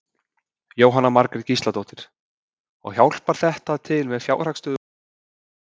Jóhanna Margrét Gísladóttir: Og hjálpar þetta til með fjárhagsstöðu hússins?